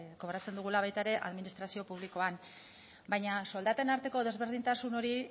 kobratzen dugula ere administrazio publikoan baina soldaten arteko desberdintasun hori